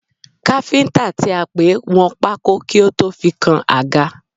Káfíńtà tí a pè wọn pákó kí ó tó fi kan àga.